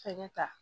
Fɛnɛ ta